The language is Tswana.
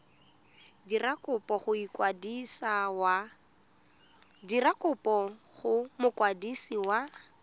dira kopo go mokwadisi wa